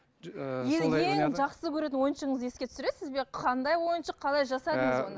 ең жақсы көретін ойыншығыңызды еске түсіресіз бе қандай ойыншық қалай жасадыңыз оны